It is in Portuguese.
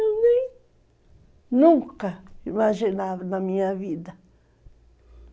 Eu nem, nunca imaginava na minha vida.